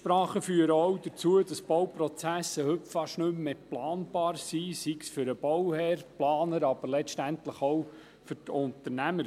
Einsprachen führen auch dazu, dass Bauprozesse heute fast nicht mehr planbar sind, sei es für den Bauherrn, die Planer, aber letztlich auch für die Unternehmer.